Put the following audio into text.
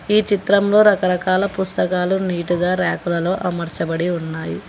ఈ చిత్రంలో రకరకాల పుస్తకాలు నీటుగా రాకులను అమర్చబడి ఉన్నాయి.